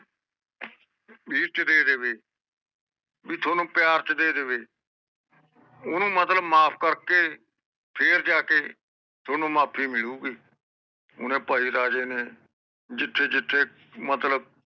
ਵਿਸ਼ਟ ਦੇ ਦੇਵੇ ਬੀ ਠਉਣੁ ਪਿਆਰ ਚ ਦੇ ਦੇਵੇ ਉਣੁ ਮਤਲਬ ਮਾਫ ਕਰਕੇ ਫੇਰ ਜਾਕੇ ਠਉਣੁ ਮਾਫੀ ਮਿਲੂਗੀ ਓਹਨੇ ਪਾਈ ਰਾਜੇ ਨੇ ਜਿਥੇ ਜਿਥੇ ਮਤਲਬ